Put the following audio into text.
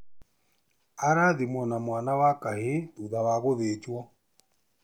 Arathimwo na mwana wa kahĩĩ thutha wa gũthĩnjwo